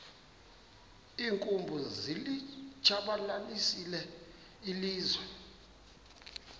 iinkumbi zilitshabalalisile ilizwe